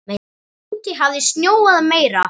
Úti hafði snjóað meira.